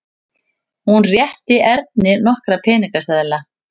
Hún rétti Erni nokkra peningaseðla.